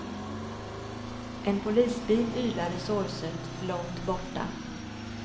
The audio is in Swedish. En polisbil ylade sorgset långt borta.